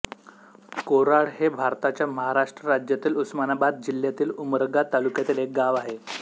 कोराळ हे भारताच्या महाराष्ट्र राज्यातील उस्मानाबाद जिल्ह्यातील उमरगा तालुक्यातील एक गाव आहे